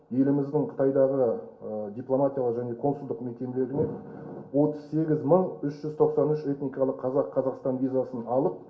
еліміздің қытайдағы дипломатиялық және консулдық мекемелерінен отыз сегіз мың үш жүз тоқсан үш этникалық қазақ қазақстан визасын алып